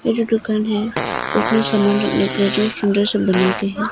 ये जो दुकान है उसमें सामान रखने के लिए जो सुंदर सा बना के है।